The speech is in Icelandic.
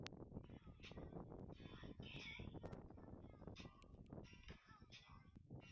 Kristel, hvað er opið lengi á laugardaginn?